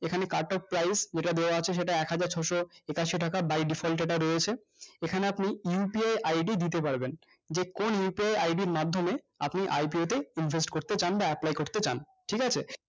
এখানে cut of price যেটা দেওয়া আছে সেটা একহাজার ছশো একাশো টাকা by defalt data রয়েছে এখানে আপনি UPI, ID দিতে পারবেন যে কোন upi id র মাধ্যমে আপনি IPO তে আপনি invest করতে চান বা apply করতে চান ঠিক আছে